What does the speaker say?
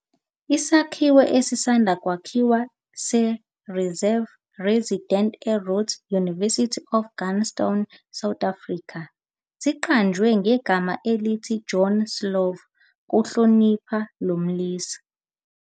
Isakhiwo esisanda kwakhiwa seRever Residence eRhode University eGrahamstown, South Africa, siqanjwe ngegama elithi "Joe Slovo" ukuhlonipha lo mlisa.